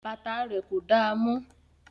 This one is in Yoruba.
Bàtà rẹ̀ kò damọ́